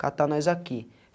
catar nós aqui.